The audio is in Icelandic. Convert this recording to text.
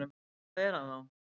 Hvað er hann þá?